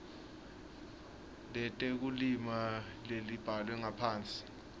letekulima lelibhalwe ngaphansi